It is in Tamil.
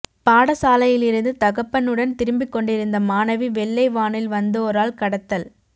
பாடசாலையிலிருந்து தகப்பனுடன் திரும்பிக் கொண்டிருந்த மாணவி வெள்ளை வானில் வந்தோரால் கடத்தல்